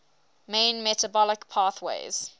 main metabolic pathways